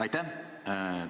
Aitäh!